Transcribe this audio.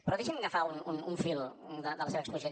però deixi’m agafar un fil de la seva exposició